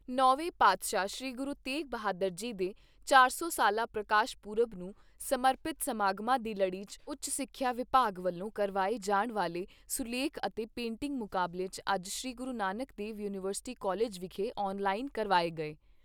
ਨੌਵੇਂ ਪਾਤਸ਼ਾਹ ਸ੍ਰੀ ਗੁਰੂ ਤੇਗ ਬਹਾਦਰ ਜੀ ਦੇ ਚਾਰ ਸੌ ਸਾਲਾ ਪ੍ਰਕਾਸ਼ ਪੁਰਬ ਨੂੰ ਸਮਰਪਿਤ ਸਮਾਗਮਾਂ ਦੀ ਲੜੀ 'ਚ ਉੱਚ ਸਿੱਖਿਆ ਵਿਭਾਗ ਵੱਲੋਂ ਕਰਵਾਏ ਜਾਣ ਵਾਲੇ ਸੁਲੇਖ ਅਤੇ ਪੇਟਿੰਗ ਮੁਕਾਬਲੇ ਅੱਜ ਸ੍ਰੀ ਗੁਰੂ ਨਾਨਕ ਦੇਵ ਯੂਨੀਵਰਸਿਟੀ ਕਾਲਜ ਵਿਖੇ ਆਨ ਲਾਈਨ ਕਰਵਾਏ ਗਏ।